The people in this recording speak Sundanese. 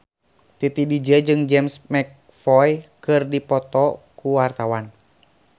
Titi DJ jeung James McAvoy keur dipoto ku wartawan